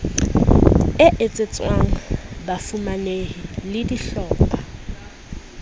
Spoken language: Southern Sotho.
e etsetswang bafumanehi le dihlopha